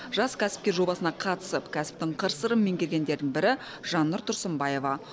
жас кәсіпкер жобасына қатысып кәсіптің қыр сырын меңгергендердің бірі жаннұр тұрсынбаева